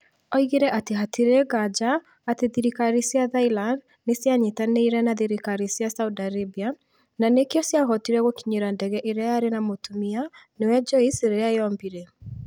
Oigire atĩ hatirĩ nganja atĩ thirikari cia Thailand nĩ cianyitanĩire na thirikari cia Saudi Arabia, na nĩkĩo ciahotire gũkinyĩra ndege ĩrĩa yarĩ na Mũtumia niwe Joyce rĩrĩa yombire